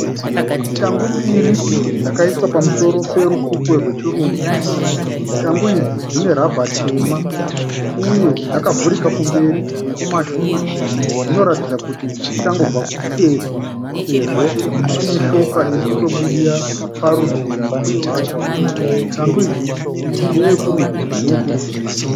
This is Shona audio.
Shangu mbiri dzakaiswa pamusoro perukukwe rwechirungu. Shangu idzi dzine rubber tema. Uye dzakavhurika kumberi nekumashure. Dzinoratidza kuti dzichangobva kupfekwa sezvo pane shoka irikutobudira parutivi rwacho. Shangu idzi ndeye kurudyi neye kuruboshwe .